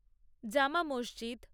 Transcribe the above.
জামা মসজিদ